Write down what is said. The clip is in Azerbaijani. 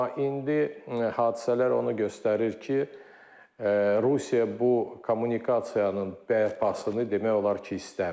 Amma indi hadisələr onu göstərir ki, Rusiya bu kommunikasiyanın bərpasını demək olar ki, istəmir.